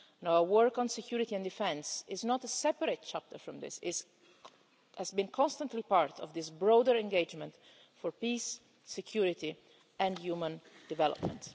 Our work on security and defence is not a separate chapter from this, but it has constantly been part of this broader engagement for peace, security and human development.